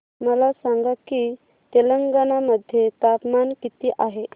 मला सांगा की तेलंगाणा मध्ये तापमान किती आहे